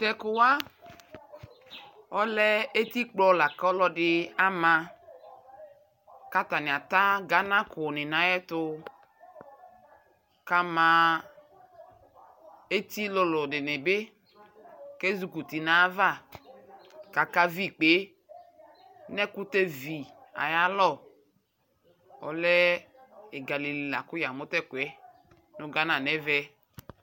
Tɛkuwa ɔlɛ etikpɔ lakɔlɔdi amakatani ata Ghana kuuni nnayɛtu kamaa etilulu diibi kama ɔlulunayava lkaka viikpenɛkutɛ vii ayalɔ, ɔlɛɛ ɛgamunili la ku yamu nu Ghana nɛmɛ